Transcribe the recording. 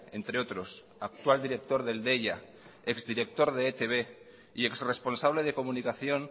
entre otros actual director del deia ex director de etb y ex responsable de comunicación